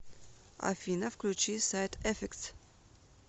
афина включи сайд эффектс